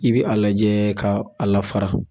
I bɛ a lajɛ k.a lafara.